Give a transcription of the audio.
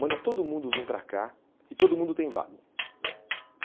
Manda todo mundo vir para cá e todo mundo tem vago.